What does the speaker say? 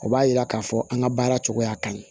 O b'a yira k'a fɔ an ka baara cogoya ye